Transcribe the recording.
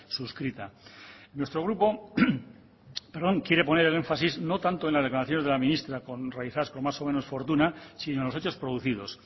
suscrita nuestro grupo quiere poner el énfasis no tanto en las declaraciones de la ministra realizadas con más o menos fortuna sino en los hechos producidos